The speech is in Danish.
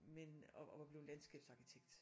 Men og og var blevet landskabsarkitekt